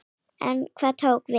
En hvað tók við?